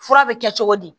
Fura bɛ kɛ cogo di